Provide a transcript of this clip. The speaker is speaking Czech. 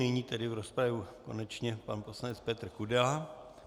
Nyní tedy do rozpravy konečně pan poslanec Petr Kudela.